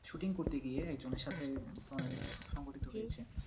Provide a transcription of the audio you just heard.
Shooting করতে গিয়ে একজনের সাথে সংগঠিত হয়েছে।